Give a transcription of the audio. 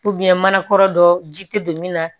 manakɔrɔ dɔ ji tɛ don min na